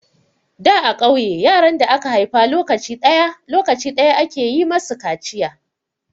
Da a ƙauye, yaran da aka haifa lokaci ɗaya, lokaci ɗaya ake yi masu kaciya.